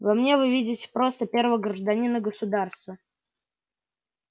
во мне вы видите просто первого гражданина государства